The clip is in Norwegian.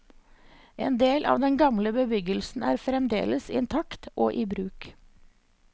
En del av den gamle bebyggelsen er fremdeles intakt og i bruk.